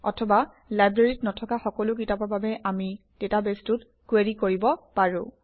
অথবা লাইব্ৰেৰীত নথকা সকলো কিতাপৰ বাবে আমি ডাটাবেছটোত কুৱেৰি কৰিব পাৰোঁ